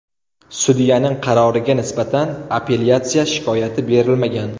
Sudyaning qaroriga nisbatan apellyatsiya shikoyati berilmagan.